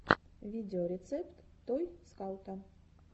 видеорецепт той скаута